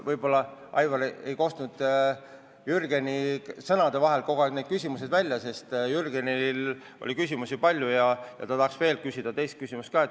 Võib-olla, Aivar, ei kostnud Jürgeni sõnade vahelt kõik need küsimused välja, sest Jürgenil oli küsimusi palju ja ta tahaks nüüdki esitada teise küsimuse ka.